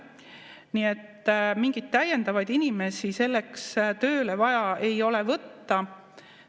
Nii et mingeid täiendavaid inimesi selleks tööle võtta ei ole vaja.